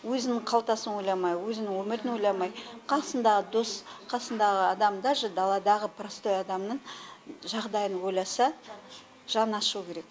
өзінің қалтасын ойламай өзінің өмірін ойламай қасындағы дос қасындағы адам даже даладағы простой адамның жағдайын ойласа жаны ашуы керек